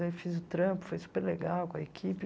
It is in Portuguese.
Aí fiz o trampo, foi super legal com a equipe.